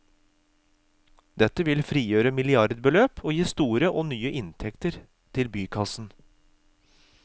Dette vil frigjøre milliardbeløp og gi store og nye inntekter til bykassen.